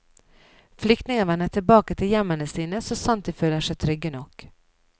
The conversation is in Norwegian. Flyktninger vender tilbake til hjemmene sine, så sant de føler seg trygge nok.